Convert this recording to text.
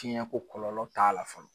Tiɲɛnko kɔlɔlɔ t'a la fɔlɔ